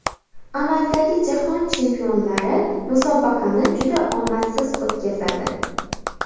Amaldagi Jahon Chempionlari musobaqani juda omadsiz o‘tkazadi.